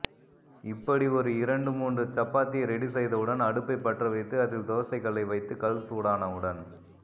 இப்படி ஒரு இரண்டு மூன்று சப்பாத்தி ரெடி செய்தவுடன் அடுப்பை பற்ற வைத்து அதில் தோசைக்கல்லை வைத்து கல் சூடானவுடன்